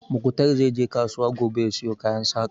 Muktar zai je kasuwa gobe ya siyo kayan Saƙa